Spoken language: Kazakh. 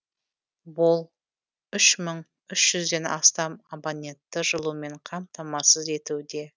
ол үш мың үш жүзден астам абонентті жылумен қамтамасыз етуде